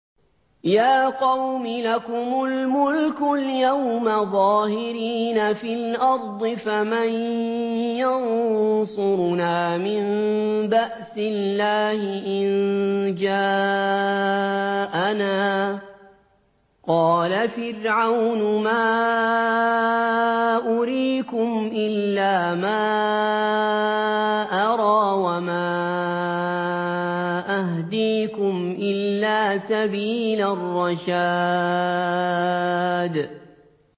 يَا قَوْمِ لَكُمُ الْمُلْكُ الْيَوْمَ ظَاهِرِينَ فِي الْأَرْضِ فَمَن يَنصُرُنَا مِن بَأْسِ اللَّهِ إِن جَاءَنَا ۚ قَالَ فِرْعَوْنُ مَا أُرِيكُمْ إِلَّا مَا أَرَىٰ وَمَا أَهْدِيكُمْ إِلَّا سَبِيلَ الرَّشَادِ